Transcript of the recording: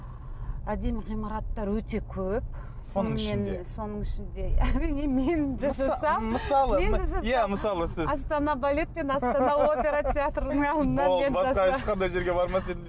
әдемі ғимараттар өте көп соның ішінде соның ішінде астана балет пен астана опера театрының алдында ешқандай жерге бармас